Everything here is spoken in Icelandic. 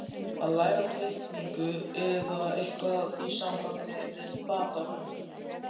Að læra teikningu eða eitthvað í sambandi við fatahönnun.